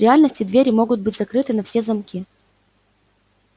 в реальности двери могут быть закрыты на все замки